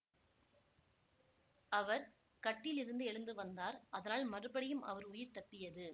அவர் கட்டிலிருந்து எழுந்து வந்தார் அதனால் மறுபடியும் அவர் உயிர் தப்பியது